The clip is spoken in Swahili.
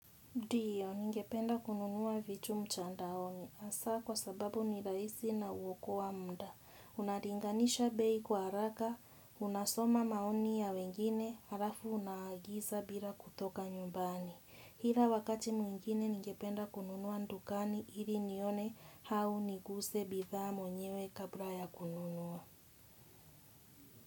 Ndiyo, ningependa kununua vitu mtandaoni. Hasa kwa sababu ni rahisi na huokoa mda. Unalinganisha bei kwa haraka, unasoma maoni ya wengine, halafu unaagiza bila kutoka nyumbani. Ila wakati mwingine ningependa kununua dukani, ili nione au niguse bidhaa mwenyewe kabla ya kununua.